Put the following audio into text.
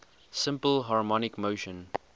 simple harmonic motion